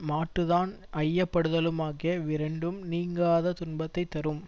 மாட்டு தான் ஐயப்படுதலுமாகிய இவ்விரண்டும் நீங்காத துன்பத்தை தரும்